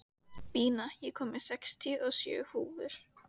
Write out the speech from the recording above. Bína, ég kom með sextíu og sjö húfur!